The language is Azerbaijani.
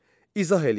İzah eləyin.